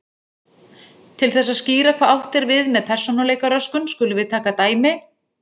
Til þess að skýra hvað átt er við með persónuleikaröskun skulum við taka dæmi.